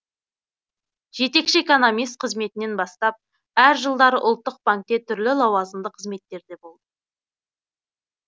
жетекші экономист қызметінен бастап әр жылдары ұлттық банкте түрлі лауазымды қызметтерде болды